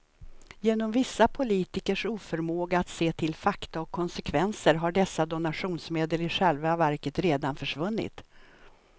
Genom vissa politikers oförmåga att se till fakta och konsekvenser har dessa donationsmedel i själva verket redan försvunnit.